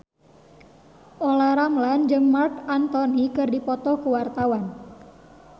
Olla Ramlan jeung Marc Anthony keur dipoto ku wartawan